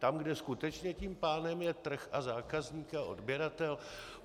Tam, kde skutečně tím pánem je trh a zákazník a odběratel?